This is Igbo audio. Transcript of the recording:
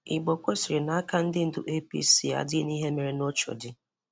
Igbokwe sịrị na aka ndị ndú APC adịghị n'ihe mere n'Oshodi